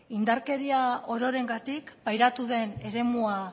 indarkeria ororengatik pairatu den eremua